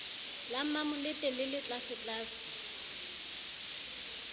la mmamolete le le tlasetlase